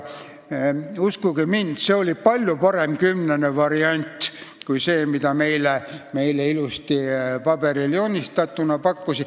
Uskuge mind, see oli palju parem kümnene variant kui see, mida meile ilusasti paberile joonistatuna pakuti.